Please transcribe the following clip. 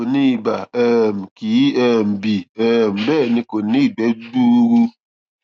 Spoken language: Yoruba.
kò ní ibà um kì í um bì um bẹẹ ni kò ní ìgbẹ gbuuru